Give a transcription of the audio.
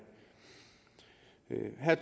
er